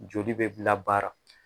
Joli be labaara.